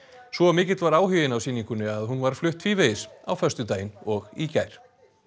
svo mikill var áhuginn á sýningunni að hún var flutt tvívegis á föstudaginn og í gær